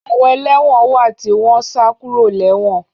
Àwọn ẹlẹ́wọ̀n wà tí ó wọn sá kúrò lé wọ̀n